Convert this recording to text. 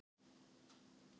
Er þetta virkilega það slæmt?